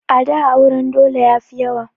A da auren dole yafi yawa